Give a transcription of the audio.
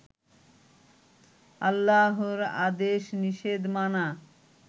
আল্লাহর আদেশ নিষেধ মানা